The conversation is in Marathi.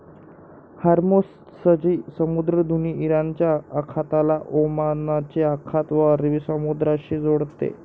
हार्मो झची समुद्रधूनी इराणच्या आखाताला ओमानचे आखात व अरबी समुद्रा शी जोडते